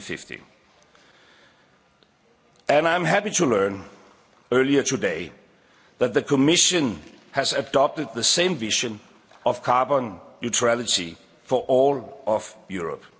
by 2050. I was happy to learn earlier today that the Commission has adopted the same vision of carbon neutrality for all of